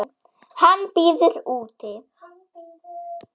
Hann bíður úti.